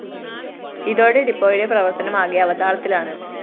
ഇതോടെ ഡിപ്പോയുടെ പ്രവര്‍ത്തനം ആകെ അവതാളത്തിലാണ്